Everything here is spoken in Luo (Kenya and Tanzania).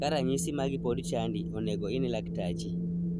Ka ranyisi magi pod chandi, onengo ine laktachi.